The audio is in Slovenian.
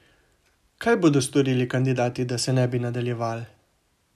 Kaj bodo storili kandidati, da se ne bi nadaljeval?